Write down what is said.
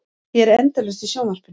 Ég er endalaust í sjónvarpinu.